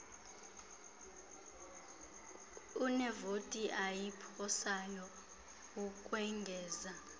unevoti ayiphosayo ukwengeza